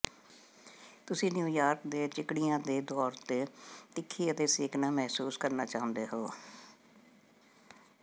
ਤੁਸੀਂ ਨਿਊਯਾਰਕ ਦੇ ਚਿਕੜੀਆਂ ਦੇ ਤੌਰ ਤੇ ਤਿੱਖੀ ਅਤੇ ਸੇਕਣਾ ਮਹਿਸੂਸ ਕਰਨਾ ਚਾਹੁੰਦੇ ਹੋ